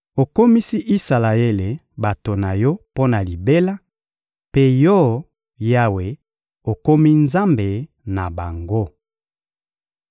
Okomisi Isalaele bato na Yo mpo na libela, mpe Yo, Yawe, okomi Nzambe na bango.